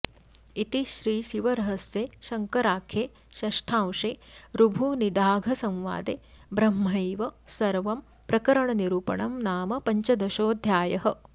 इति श्रीशिवरहस्ये शङ्कराख्ये षष्ठांशे ऋभुनिदाघसंवादे ब्रह्मैव सर्वं प्रकरणनिरूपणं नाम पञ्चदशोऽध्यायः